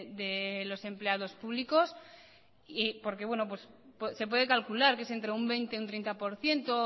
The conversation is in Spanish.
de los empleados público se puede calcular que es entre un veinte por ciento o un treinta por ciento